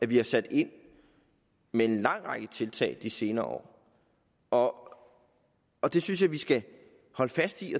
vi har sat ind med en lang række tiltag de senere år år det synes jeg vi skal holde fast i